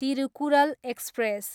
Thirukkural express